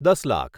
દસ લાખ